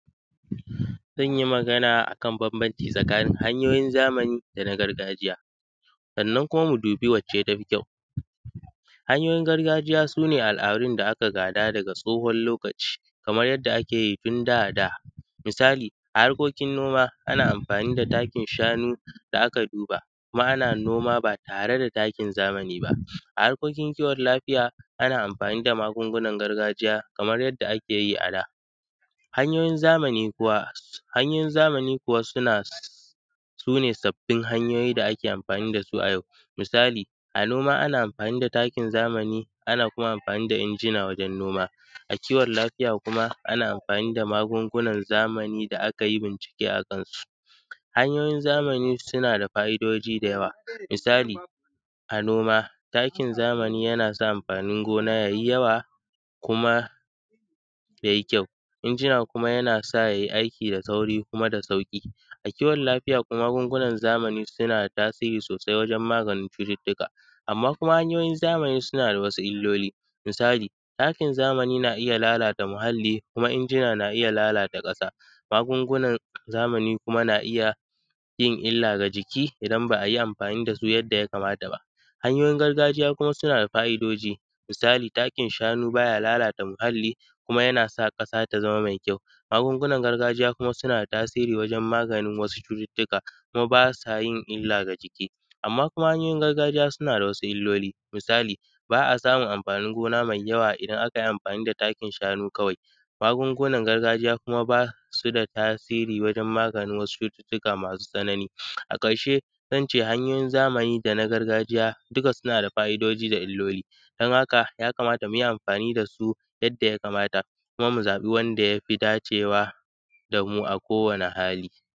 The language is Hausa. Zan yi magana akan bambancin hanyoyin zamani da na gargajiya, sannan kuma mu dubi wacce tafi kyau. Hanyoyin gargajiya sune al’adun da aka gada daga tsohon lokaci kamar yanda akeyi tun da da, misali, a harkokin noma ana amfani da takin shanu da aka duba kuma ana noma ba tare da takin zamani ba, a harkokin kiwon lafiya ana amfani da magungunan gargajiya kamar yadda akeyi a da. Hanyoyin zamani kuwa, sune sabbin hanyoyi da ake amfani dasu a yau, misali, a noma ana amfani da takin zamani, ana kuma amfani da injina wajen noma, a kiwon lafiya kuma ana amfani da magungunan zamani da akayi bincike akan su. Hanyoyin zamani suna da fa’idoji da yawa, misali, a noma takin zamani yana sa amfanin gona yayi yawa kuma yayi kyau, injina kuma yana sa yayi aiki da sauri kuma da sauƙi, a kiwon lafiya kuma magungunan zamani suna da tasiri sosai wajen maganin cututtuka, amman kuma hanyoyin zamani suna da wasu illoli, misali, takin zamani na iya lalata muhalli kuma injina na iya lalata ƙasa, magungunan zamani kuma na iya yin illa ga jiki, idan ba ayi amfani dasu yadda ya kamata ba. Hanyoyin gargajiya kuma suna da fa’idoji, misali, takin shanu baya lalata muhalli kuma yana sa ƙasa ta zama mai kyau, magungunan gargajiya kuma suna da tasiri wajen maganin wasu cututtuka kuma basa yin illa ga jiki, amma kuma hanyoyin gargajiya suna da wasu illoli, misali, ba a samun amfanin gona mai yawa idan akayi amfani da takin shanu kawai, magungunan gargajiya kuma basu da tasiri wajen maganin wasu cututtuka masu tsanani. A ƙarshe, zance hanyoyin zamani dana gargajiya dukka suna da fa’idoji da illoli don haka ya kamata muyi amfani dasu yadda ya kamata kuma mu zaɓi wanda yafi dacewa damu a kowani hali.